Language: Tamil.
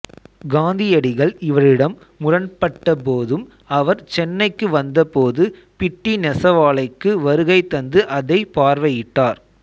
காந்தியடிகள் இவரிடம் முரண்பட்ட போதும் அவர் சென்னைக்கு வந்த போது பிட்டி நெசவாலைக்கு வருகை தந்து அதை பார்வையிட்டார்